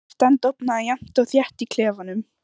Birtan dofnaði jafnt og þétt í klefanum.